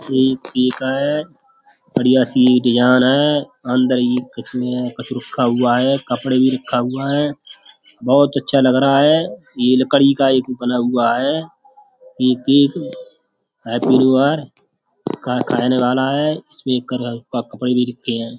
का है बढ़िया सी ये डिजाईन है अंदर ही कछु नहीं है कुछ रखा हुआ है कपड़े भी रखा हुआ है। बहोत अच्छा लग रहा है ये लकड़ी का एक बना हुआ है एक एक हैप्पी नू अर कह कहने वाला है। उसमें एक करल का कपड़े भी रखें है।